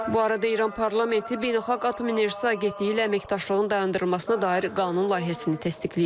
Bu arada İran parlamenti Beynəlxalq Atom Enerjisi Agentliyi ilə əməkdaşlığın dayandırılmasına dair qanun layihəsini təsdiqləyib.